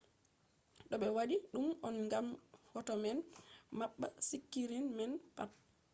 do be wadi dum on gam hoto man mabba sikirin man pat